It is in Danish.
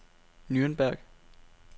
Nürnberg